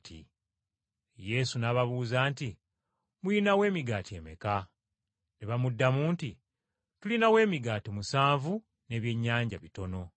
Yesu n’ababuuza nti, “Mulinawo emigaati emeka?” Ne bamuddamu nti, “Tulinawo emigaati musanvu n’ebyennyanja bitono.”